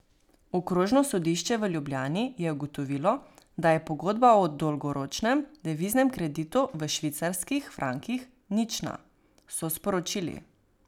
Okrožno sodišče v Ljubljani je ugotovilo, da je pogodba o dolgoročnem deviznem kreditu v švicarskih frankih nična, so sporočili.